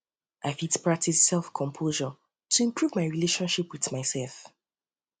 i fit practice selfcompassion um to improve my relationship with myself